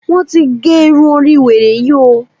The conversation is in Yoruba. Wọ́n ti ge irun orí wèrè yí o!